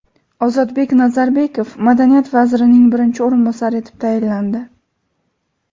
Ozodbek Nazarbekov madaniyat vazirining birinchi o‘rinbosari etib tayinlandi.